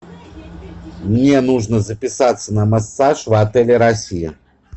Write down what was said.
мне нужно записаться на массаж в отеле россия